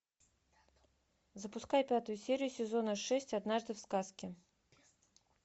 запускай пятую серию сезона шесть однажды в сказке